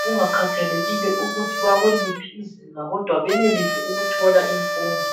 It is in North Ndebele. kungakhathalekile ukuthi bakuliphi izinga kodwa benelise ukuthola imfundo.